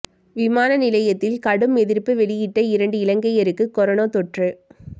விமான நிலையத்தில் கடும் எதிர்ப்பு வெளியிட்ட இரண்டு இலங்கையருக்கு கொரோனா தொற்று